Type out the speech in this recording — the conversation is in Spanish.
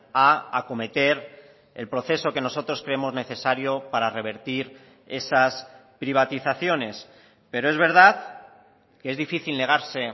a acometer el proceso que nosotros creemos necesario para revertir esas privatizaciones pero es verdad que es difícil negarse